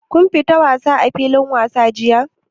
Kun fita wasa a filin wasa jiya?